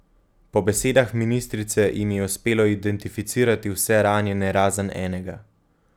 Po besedah ministrice jim je uspelo identificirati vse ranjene razen enega.